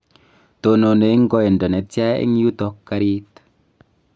tononi eng' koindo netya eng yuto karit?